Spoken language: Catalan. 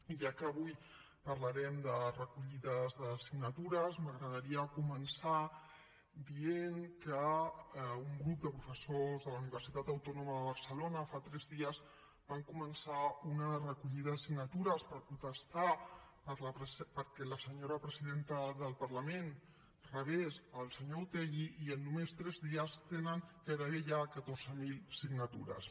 ja que avui parlarem de recollides de signatures m’agradaria començar dient que un grup de professors de la universitat autònoma de barcelona fa tres dies van començar una recollida de signatures per protestar perquè la senyora presidenta del parlament rebés el senyor otegi i en només tres dies tenen gairebé ja catorze mil signatures